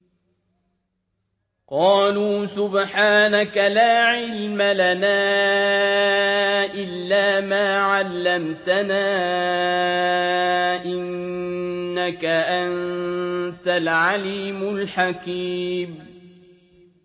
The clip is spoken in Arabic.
قَالُوا سُبْحَانَكَ لَا عِلْمَ لَنَا إِلَّا مَا عَلَّمْتَنَا ۖ إِنَّكَ أَنتَ الْعَلِيمُ الْحَكِيمُ